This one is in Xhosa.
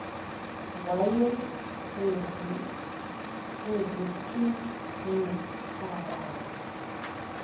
waya kuzithi ncuchalala